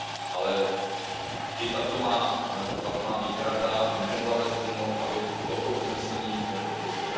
Ale i tato má výhrada nemohla vést k tomu, abych toto usnesení nepodpořil.